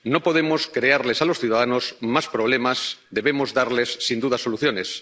no podemos crearles a los ciudadanos más problemas, debemos darles, sin duda, soluciones.